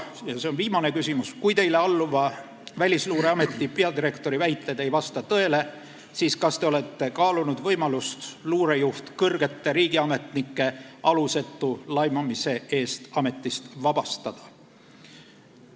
Ja viimane küsimus: "Kui teile alluva Välisluureameti peadirektori väited ei vasta tõele, siis kas olete kaalunud võimalust luurejuht kõrgete riigiametnike alusetu laimamise eest ametist vabastada?